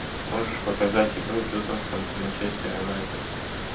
можешь показать игру тоттенхэм с манчестер юнайтед